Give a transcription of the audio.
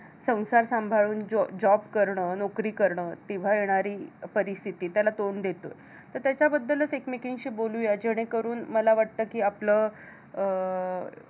संसार सांभाळून जॉ job करणं, नोकरी करणं. विव्हाळणारी परिस्थिती त्याला तोंड देतो. तर त्याच्याबद्दलचं एकमेकींशी बोलूया, जेणेकरून मला वाटतं कि आपलं अं